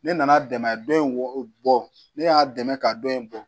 Ne nana dɛmɛ dɔ in bɔ ne y'a dɛmɛ k'a dɔ in bɔ